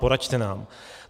Poraďte nám.